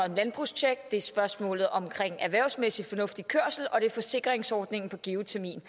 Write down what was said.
om landbrugstjek det er spørgsmålet om erhvervsmæssig fornuftig kørsel og det er forsikringsordningen på geotermien